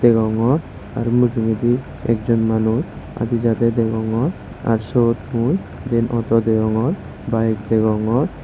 degongor aro mujungedi ekjon manuj ade jade degongor ar siyot mui diyen oto degongor bayek degongor.